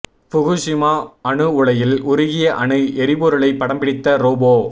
Fukushima அணு உலையில் உருகிய அணு எரிபொருளை படம் பிடித்த ரோபோ